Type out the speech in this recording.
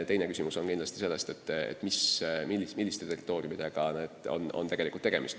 Teine küsimus on selles, milliste territooriumidega on tegelikult tegemist.